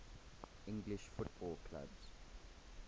english football clubs